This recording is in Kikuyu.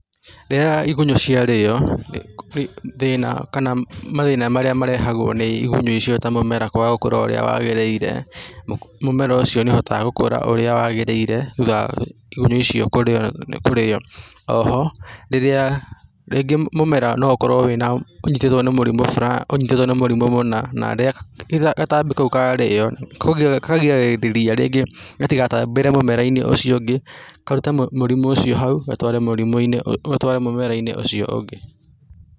Rĩrĩa igunyũ ciarĩo, thĩna kana mathĩna marĩa marehagwo nĩ igunyũ icio ta mũmera kwaga gũkũra ũrĩa wagĩrĩire, mũmera ũcio nĩũhotaga gũkũra ũrĩa wagĩrĩire thutha wa igunyũ icio kũrĩo. O ho, rĩrĩa, rĩngĩ mũmera no ũkorwo ũnyitĩtwo nĩ mũrimũ ũnyitĩtwo nĩ mũrimũ mũna, na rĩrĩa gatambi kau karĩo, kagiragĩrĩria rĩngĩ gatigatambĩre mũmera-inĩ ucio ũngĩ , karute mũrimũ ũcio hau, gatware mũrimũ-inĩ, gatware mũmera-inĩ ũcio ũngĩ.